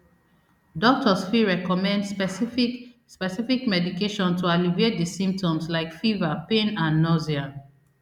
doctors fit recommend specific specific medication to alleviate di symptoms like fever pain and nausea